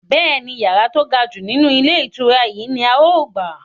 Bẹ́ẹ̀ni, yàrá to gajù nínú ilé ìtura yìí ni Áà ó gbà.